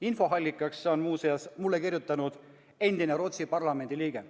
Infoallikaks on muuseas mulle kirjutanud endine Rootsi parlamendi liige.